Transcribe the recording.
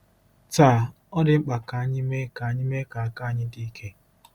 Taa, ọ dị mkpa ka anyị mee ka anyị mee ka aka anyị dị ike.